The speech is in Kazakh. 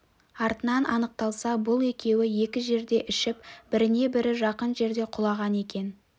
артынан анықталса бұл екеуі екі жерде ішіп біріне-бірі жақын жерде құлаған екен